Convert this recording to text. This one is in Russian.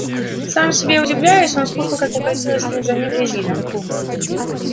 сам себе удивляясь он слушал как покатилась вслед за ним дрезина